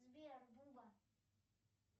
сбер буба